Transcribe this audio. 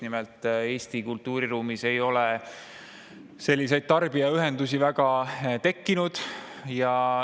Nimelt, Eesti kultuuriruumis ei ole selliseid tarbijaühendusi väga tekkinud.